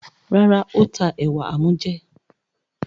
Rárá, ó ta ẹ̀wà amújẹ.